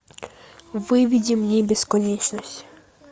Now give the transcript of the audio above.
выведи мне бесконечность